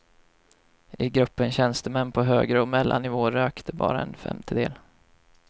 I gruppen tjänstemän på högre och mellannivå rökte bara en femtedel.